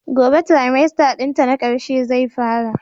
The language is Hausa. Gobe trimester dinta na karshe zai fara.